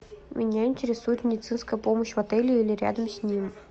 меня интересует медицинская помощь в отеле или рядом с ним